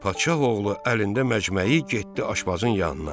Padşah oğlu əlində məcmeyi getdi aşbazın yanına.